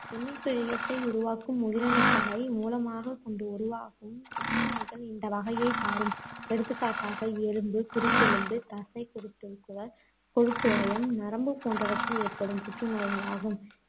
இணைப்பிழையத்தை உருவாக்கும் உயிரணுக்களை மூலமாகக் கொண்டு உருவாகும் புற்றுநோய்கள் இந்த வகையைச் சாரும். எடுத்துக்காட்டாக எலும்பு, குருத்தெலும்பு, தசை, குருதிக்குழல், கொழுப்பிழையம், நரம்பு போன்றவற்றில் ஏற்படும் புற்றுநோய்களாகும்.